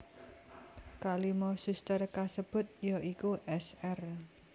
Kalimo suster kasebut ya iku Sr